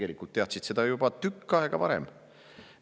Inimesed teadsid seda tegelikult juba tükk aega varem.